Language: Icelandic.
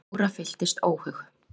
Jóra fylltist óhug.